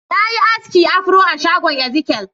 Na yi aski afro a shagon Ezikiel.